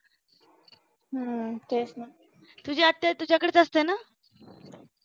तुझी आत्या तुझ्याकडेच असते नां?